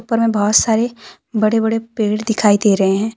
ऊपर में बहुत सारे बड़े बड़े पेड़ दिखाई दे रहे है।